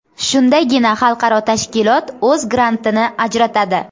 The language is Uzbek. Shundagina xalqaro tashkilot o‘z grantini ajratadi.